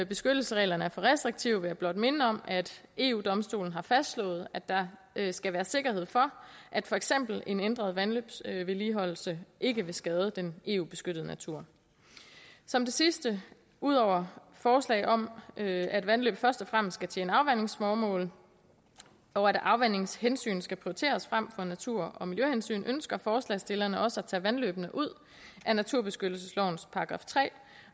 beskyttelsesreglerne er for restriktive vil jeg blot minde om at eu domstolen har fastslået at der skal være sikkerhed for at for eksempel en ændret vandløbsvedligeholdelse ikke vil skade den eu beskyttede natur som det sidste ud over forslagene om at vandløb først og fremmest skal tjene afvandingsformål og at afvandingshensyn skal prioriteres frem for natur og miljøhensyn ønsker forslagsstillerne også at tage vandløbene ud af naturbeskyttelseslovens § tre